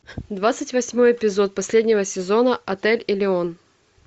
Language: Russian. двадцать восьмой эпизод последнего сезона отель элеон